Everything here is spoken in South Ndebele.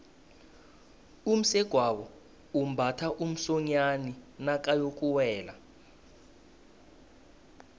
umsegwabo umbatha umsonyani nakayokuwela